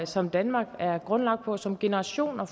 som danmark er grundlagt på og som generationer